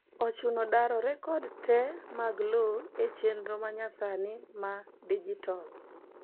ochuno daro rekod te mag lowo e chenro manyasani ma digital